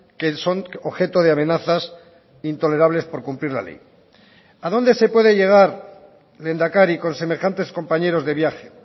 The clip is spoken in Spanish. que son objeto de amenazas intolerables por cumplir la ley a dónde se puede llegar lehendakari con semejantes compañeros de viaje